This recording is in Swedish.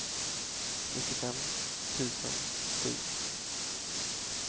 nittiofem tusen sju